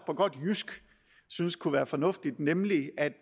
på godt jysk synes kunne være fornuftigt nemlig at